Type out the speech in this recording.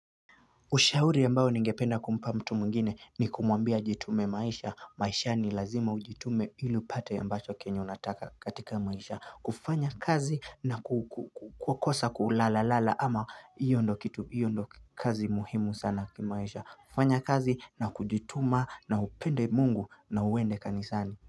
Ushauri ambao ningependa kumpa mtu mwingine ni kumuambia ajitume maisha. Maishani lazima ujitume ili upate ambacho kenye unataka katika maisha. Kufanya kazi na kukosa kulalalala ama hiyo ndo kazi muhimu sana kimaisha. Kufanya kazi na kujituma na upende mungu na uwende kanisani.